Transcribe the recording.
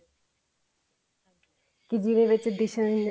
ਕੇ ਜਿਵੇਂ ਬੱਚੇ dis